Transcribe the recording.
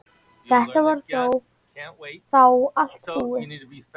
Þetta var þá allt búið.